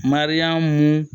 Mariyamu